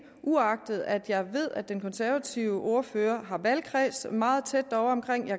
uagtet at jeg ved at den konservative ordfører har valgkreds meget tæt